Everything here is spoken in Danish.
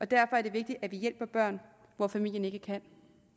derfor er det vigtigt at vi hjælper børn hvor familien ikke kan